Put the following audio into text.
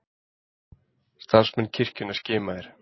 Starfsmenn kirkjunnar skimaðir